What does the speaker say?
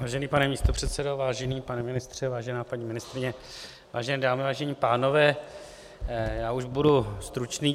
Vážený pane místopředsedo, vážený pane ministře, vážená paní ministryně, vážené dámy, vážení pánové, já už budu stručný.